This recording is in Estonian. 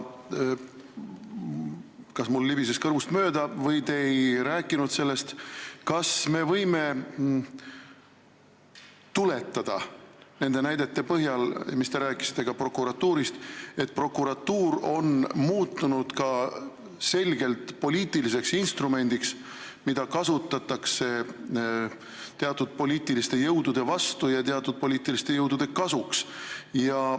Aga kas me võime nende näidete põhjal, mida ta te tõite ka prokuratuuri kohta, tuletada seda , et prokuratuur on muutunud selgelt poliitiliseks instrumendiks, mida kasutatakse teatud poliitiliste jõudude vastu ja teatud poliitiliste jõudude kasuks?